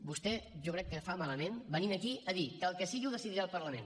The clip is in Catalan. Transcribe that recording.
vostè jo crec que fa malament venint aquí a dir que el que sigui ho decidirà el parlament